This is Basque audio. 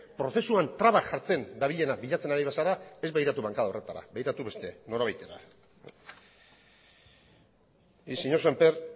prozesuan traba jartzen dabilena bilatzen ari bazara ez begiratu bankada horretara begiratu beste norabaitera y señor semper